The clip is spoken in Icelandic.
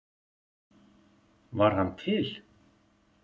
Var hann til?